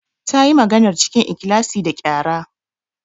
Ta yi maganar cikin ikhlasi da qyara.